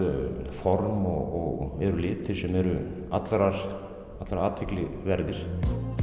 form og eru litir sem eru allar allar athygli verðir